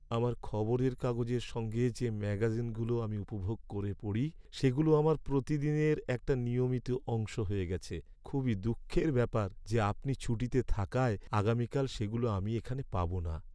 আমার খবরের কাগজের সঙ্গে যে ম্যাগাজিনগুলো আমি উপভোগ করে পড়ি সেগুলো আমার প্রতিদিনের একটা নিয়মিত অংশ হয়ে গেছে। খুবই দুঃখের ব্যাপার যে আপনি ছুটিতে থাকায় আগামীকাল সেগুলো আমি এখানে পাব না।